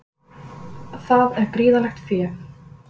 Það er gríðarlegt fé